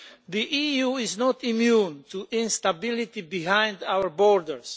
The EU is not immune to instability behind our borders.